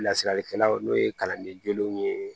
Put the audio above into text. Lasiralikɛlaw n'o ye kalanden jolenw ye